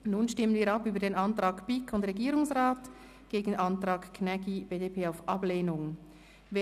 Nun stelle ich den Antrag BiK und Regierungsrat dem Antrag Gnägi/BDP auf Ablehnung gegenüber.